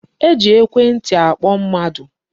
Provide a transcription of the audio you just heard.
E ji ekwentị akpọ mmadụ.